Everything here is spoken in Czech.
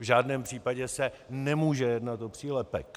V žádném případě se nemůže jednat o přílepek.